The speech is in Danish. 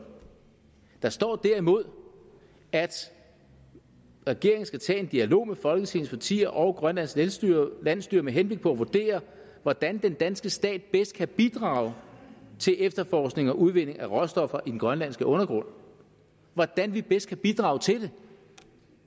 der står derimod at regeringen skal tage en dialog med folketingets partier og grønlands landsstyre landsstyre med henblik på at vurdere hvordan den danske stat bedst kan bidrage til efterforskning og udvinding af råstoffer i den grønlandske undergrund hvordan vi bedst kan bidrage til det